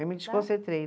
Eu me desconcentrei.